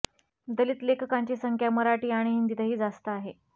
दलित लेखिकांची संख्या मराठी आणि हिंदीतही जास्त आहे